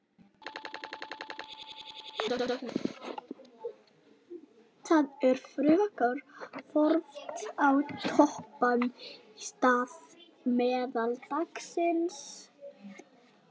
Það er frekar horft á toppanna í stað meðaltalsins.